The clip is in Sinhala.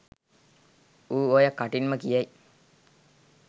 ඌ ඔය කටින්ම කියයි